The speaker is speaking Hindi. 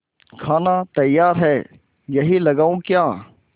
खाना तैयार है यहीं लगाऊँ क्या